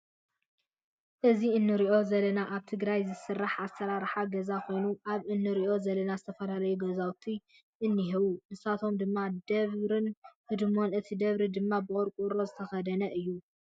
እዚ እንሪኦ ዘለና ኣብ ትግራይ ዝስራሕ ኣሰራርሓ ገዛ ኮይኑ ኣብ እንሪኦ ዘለና ዝተፈላለዩ ገዛውቲ እንሄዉ። ንሳቶም ድማ ደብርን ህድሞ እቲ ደብሪ ድማ ብቆርቆሮ ዝተከደነ እዩ።